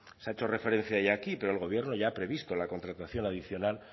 se ha hecho referencia ya aquí pero el gobierno ya ha previsto la contratación adicional